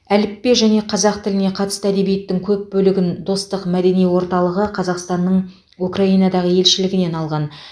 әліппе және қазақ тіліне қатысты әдебиеттің көп бөлігін достық мәдени орталығы қазақстанның украинадағы елшілігінен алған